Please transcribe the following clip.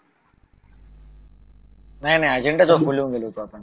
नाही नाही agenda agenda गेलो होतो आपण